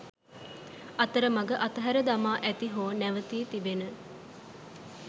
අතරමග අතහැර දමා ඇති හෝ නැවතී තිබෙන